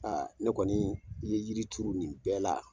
ne kɔni i ye yiri turu nin bɛɛ la.